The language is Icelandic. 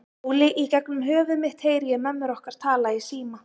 Óli, í gegnum höfuð mitt heyri ég mömmur okkar tala í síma.